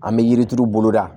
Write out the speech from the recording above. An bɛ yirituru bolo da